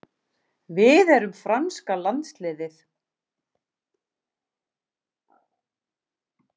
Við erum franska landsliðið.